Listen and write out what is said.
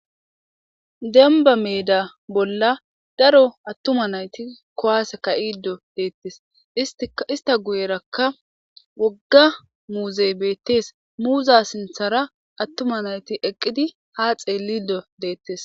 Dembba meeda bolla daro attuma nayti kuwasse ka'iddo deetees. Izetape guyeraka wogga muuzey beetees. Muza sinththeraka attuma nayti eqqidi ha xeellishe deetees.